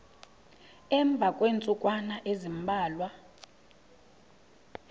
emva kweentsukwana ezimbalwa